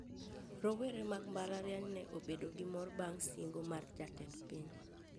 Rowere mag mbalariany ne obedo gi mor bang` singo mar jatend piny